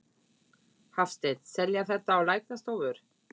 Hafsteinn: Selja þetta á læknastofur?